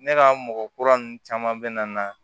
Ne ka mɔgɔ kura ninnu caman bɛ na